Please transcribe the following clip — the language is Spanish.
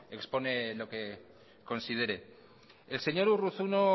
expone lo que considere el señor urruzuno